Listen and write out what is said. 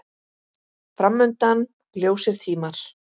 Fram undan ljósir tímar.